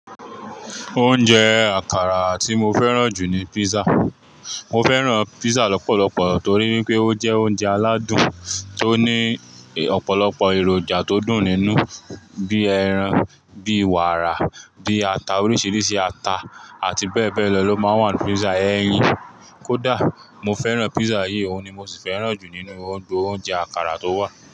Oúnjẹ àkàrà tí mo fẹ́ràn jù ni pizza. Mo fẹ́ràn pizza lọ́pọ̀lọpọ̀ torí wipé ó jẹ́ oúnjẹ aládùn tó ní ọ̀pọ̀lọpọ̀ èròjà tó dùn nínú bíi ẹran, bíi wàrà, bíi ata, oríṣiríṣi ata àti bẹ́ẹ̀ bẹ́ẹ̀ lọ ló máa ń wà nínú pizza. Eyin kódà mo fẹ́ràn pizza yìí, òun ni mo sì fẹ́ràn jù nínú o gbogbo oúnjẹ àkàrà tó wà.